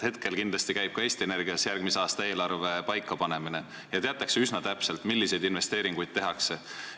Praegu kindlasti käib ka Eesti Energias järgmise aasta eelarve paikapanemine ja teatakse üsna täpselt, milliseid investeeringuid tehakse.